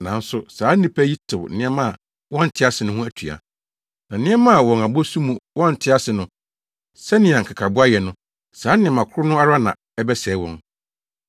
Nanso saa nnipa yi tew nneɛma a wɔnte ase ho atua. Na nneɛma a wɔn abɔsu mu wɔnte ase no, sɛnea nkekaboa yɛ no, saa nneɛma koro no ara na ɛbɛsɛe wɔn.